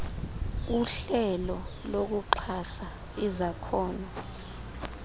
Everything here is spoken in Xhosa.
uhlelo lokuxhasa izakhono